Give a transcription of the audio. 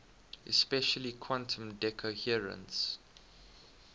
especially quantum decoherence